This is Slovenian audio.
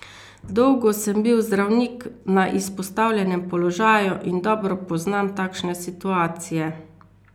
Dolgo sem bil zdravnik na izpostavljenem položaju in dobro poznam takšne situacije.